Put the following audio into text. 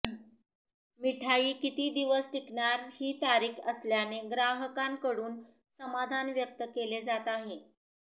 मिठाई किती दिवस टिकणार ही तारीख असल्याने ग्राहकांकडून समाधान व्यक्त केले जात आहे